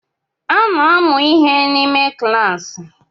A na-amụ ihe n’ime kilas